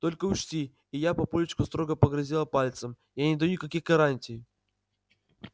только учти и я папульчику строго погрозила пальцем я не даю никаких гарантий